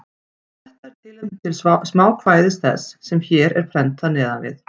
Þetta er tilefni til smákvæðis þess, sem hér er prentað neðan við.